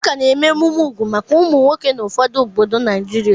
A ka na-eme emume úgwù maka ụmụ nwoke na ụfọdụ obodo Naijiria.